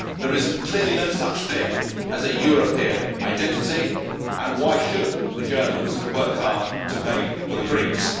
There is clearly no such thing as a European identity', and why should the Germans work hard to pay for the Greeks?